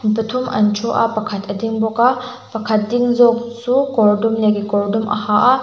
mi pathum an thu a pakhat a ding bawk a pakhat ding zawk chu kawr dum leh kekawr dum a ha a--